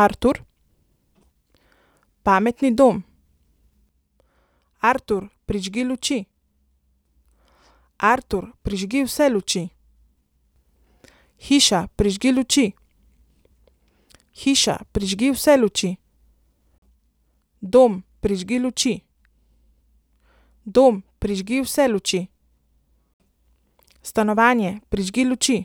Artur. Pametni dom. Artur, prižgi luči. Artur, prižgi vse luči. Hiša, prižgi luči. Hiša, prižgi vse luči. Dom, prižgi luči. Dom, prižgi vse luči. Stanovanje, prižgi luči.